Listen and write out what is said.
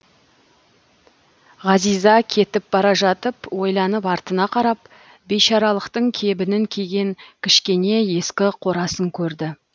ғазиза кетіп бара жатып ойланып артына қарап бишаралықтың кебінін киген кішкене ескі қорасын көрді